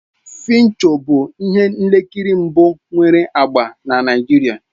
"Fincho bụ ihe nkiri mbụ nwere agba na Naịjirịa.